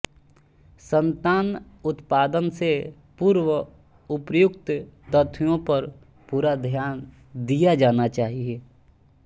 सन्तान उत्पादन से पूर्व उर्पयुक्त तथ्यों पर पूरा ध्यान दिया जाना चाहिए